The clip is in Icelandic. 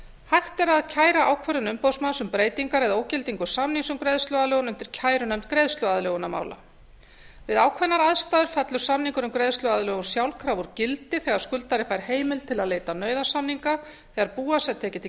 hægt er að kæra ákvörðun umboðsmanns um breytingar eða ógildingu samnings um greiðsluaðlögun undir kærunefnd greiðsluaðlögunarmála við ákveðnar aðstæður fellur samningur um greiðsluaðlögun sjálfkrafa úr gildi þegar skuldari fær heimild til að leita nauðasamninga þegar bú hans er tekið til